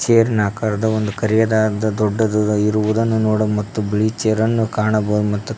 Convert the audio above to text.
air ನಕರ್ದು ಒಂದು ಕರಿಯದಾದ ದೊಡ್ಡದಾದ ಇರುವುದನ್ನು ನೋಡ್ ಮತ್ತು ಬಿಳಿ ಚೇರ್ ಅನ್ನು ಕಾಣಬಹುದು ಮತ್ತು--